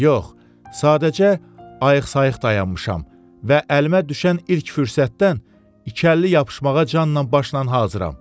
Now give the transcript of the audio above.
Yox, sadəcə ayıqsayıq dayanmışam və əlimə düşən ilk fürsətdən ikili yapışmağa canla başla hazıram.